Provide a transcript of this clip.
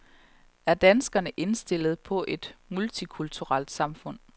Er danskerne indstillet på et multikulturelt samfund?